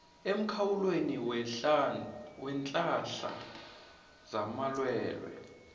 emkhawulweni weenhlahla zamalwelwe